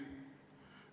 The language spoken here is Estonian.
Ausalt.